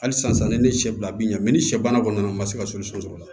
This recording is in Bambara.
Hali sisan ne ni sɛ bila bin na ni sɛ bana kɔni nana n ma se ka sɔrɔ o la